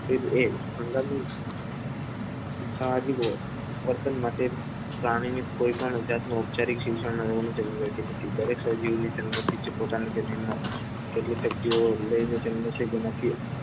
એક એ હંગામી સામાજિક વર્તન માટે પ્રાણીની કોઈપણ જાતના ઉપચારિક શિક્ષણનો જરૂર હોય છે દરેક સજીવને જન્મોથી પોતાની સજીવનો કેટલીક શક્તિઓ તેનાથી સજીવને જન્મસિદ્ધ પોતાનો